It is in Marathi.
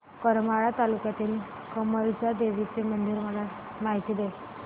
करमाळा तालुक्यातील कमलजा देवीची मला माहिती दे